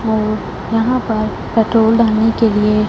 और यहां पर पेट्रोल डालने के लिए--